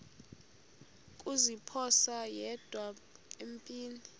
kuziphosa yedwa empini